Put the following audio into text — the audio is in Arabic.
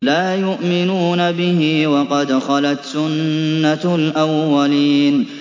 لَا يُؤْمِنُونَ بِهِ ۖ وَقَدْ خَلَتْ سُنَّةُ الْأَوَّلِينَ